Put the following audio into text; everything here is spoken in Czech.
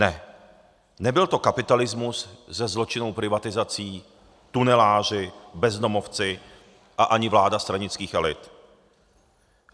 Ne, nebyl to kapitalismus se zločinnou privatizací, tuneláři, bezdomovci a ani vláda stranických elit.